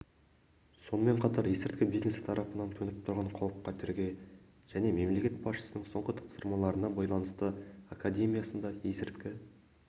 сонымен қатар есірткі бизнесі тарапынан төніп тұрған қауіп-қатерге және мемлекет басшысының соңғы тапсырмаларына байланысты академиясында есірткі